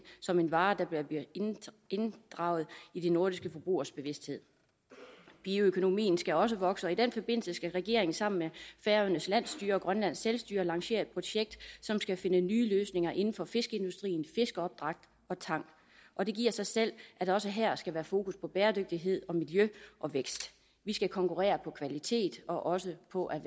som en vare der bliver inddraget i de nordiske forbrugeres bevidsthed bioøkonomien skal også vokse og i den forbindelse skal regeringen sammen med færøernes landsstyre og grønlands selvstyre lancere et projekt som skal finde nye løsninger inden for fiskeindustrien fiskeopdræt og tang og det giver sig selv at der også her skal være fokus på bæredygtighed miljø og vækst vi skal konkurrere på kvalitet og også på at